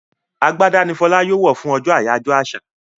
Àgbàdá ní Fola yóò wọ fún ojó ajoyọ àṣà.